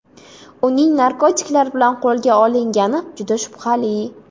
Uning narkotiklar bilan qo‘lga olingani juda shubhali.